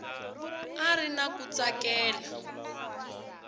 a ri na ku tsakela